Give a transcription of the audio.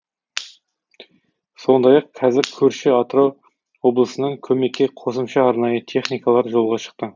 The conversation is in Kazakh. сондай ақ қазір көрші атырау облысынан көмекке қосымша арнайы техникалар жолға шықты